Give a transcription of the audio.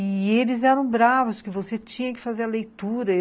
E eles eram bravos, porque você tinha que fazer a leitura.